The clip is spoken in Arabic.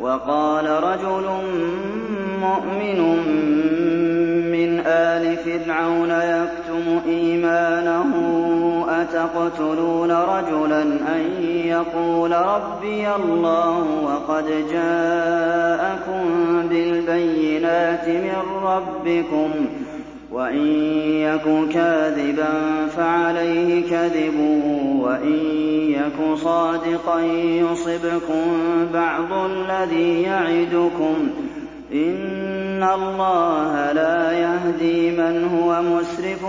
وَقَالَ رَجُلٌ مُّؤْمِنٌ مِّنْ آلِ فِرْعَوْنَ يَكْتُمُ إِيمَانَهُ أَتَقْتُلُونَ رَجُلًا أَن يَقُولَ رَبِّيَ اللَّهُ وَقَدْ جَاءَكُم بِالْبَيِّنَاتِ مِن رَّبِّكُمْ ۖ وَإِن يَكُ كَاذِبًا فَعَلَيْهِ كَذِبُهُ ۖ وَإِن يَكُ صَادِقًا يُصِبْكُم بَعْضُ الَّذِي يَعِدُكُمْ ۖ إِنَّ اللَّهَ لَا يَهْدِي مَنْ هُوَ مُسْرِفٌ